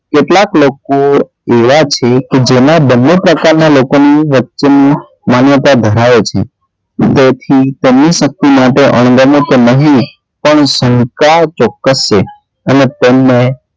કેટલાંક લોકો એવાં છે કે જેનાં બંને પ્રકારનાં લોકો ની વચ્ચે માન્યતા ધરાવે છે તેથી તેમની શક્તિ માટે અણગમો તો નહીં પણ સંકળાર ચોક્કસ છે અને